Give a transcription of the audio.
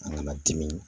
An kana dimi